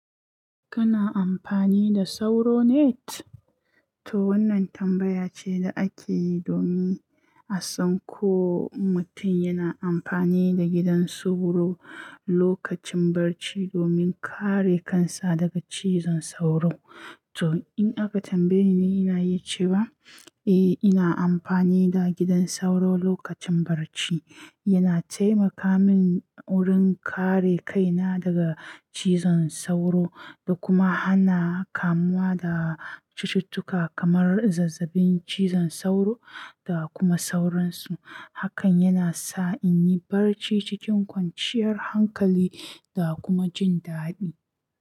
Kana amfani da sauro net? To wannan tambaya ce da ake yi domin a san ko mutum yana amfani da gidan sauro lokacin barci domin kare kansa daga cizon sauro. To in aka tambaye ni, ina yi cewa eh, ina amfani da gidan sauro lokacin barci. Yana taimaka min wurin kare kaina daga cizon sauro da kuma hana kamuwa da cututtuka kamar zazzabin cizon sauro da kuma sauransu. Hakan yana sa in yi barci cikin kwanciyar hankali da kuma jin daɗi.